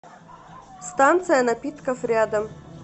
станция напитков рядом